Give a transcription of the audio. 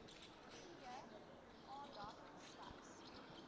p aandag slegs